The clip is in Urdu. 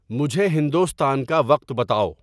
مجھے ہندوستان کا وقت بتاؤ